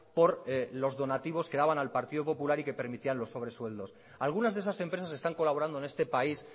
por los donativos que daban al partido popular y que permitían los sobresueldos algunas de esas empresas están colaborando en este país